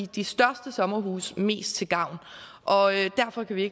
de største sommerhuse mest til gavn og derfor kan vi